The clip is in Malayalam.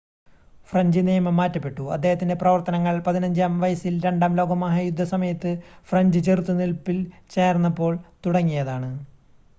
ഫ്രഞ്ച് നിയമം മാറ്റപ്പെട്ടു അദ്ദേഹത്തിൻ്റെ പ്രവർത്തനങ്ങൾ 15-ആം വയസ്സിൽ രണ്ടാം ലോക മഹായുദ്ധസമയത്ത് ഫ്രഞ്ച് ചെറുത്ത് നിൽപ്പിൽ ചേർന്നപ്പോൾ തുടങ്ങിയതാണ്